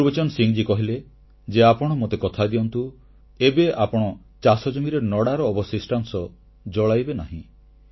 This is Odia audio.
ଗୁରବଚନ ସିଂହ ମହାଶୟ କହିଲେ ଯେ ଆପଣ ମୋତେ କଥା ଦିଅନ୍ତୁ ଏବେ ଆପଣ ଚାଷଜମିରେ ନଡ଼ାର ଅବଶିଷ୍ଟାଂଶ ଜଳାଇବେ ନାହିଁ